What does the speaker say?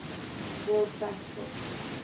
world fact book